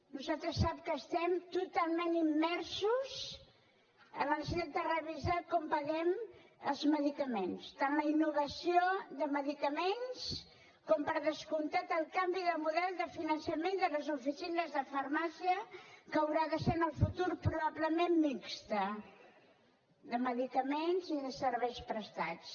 nosaltres sap que estem totalment immersos en la necessitat de revisar com paguem els medicaments tant la innovació de medicaments com per descomptat el canvi de model de finançament de les oficines de farmàcia que haurà de ser en el futur probablement mixt de medicaments i de serveis prestats